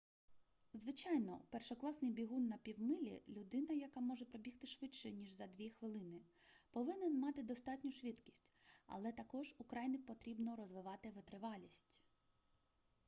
звичайно першокласний бігун на півмилі людина яка може пробігти швидше ніж за дві хвилини повинен мати достатню швидкість але також украй потрібно розвивати витривалість